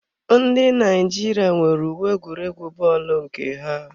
Ndị Naijiria nwere uwe egwuregwu bọọlu nke ha.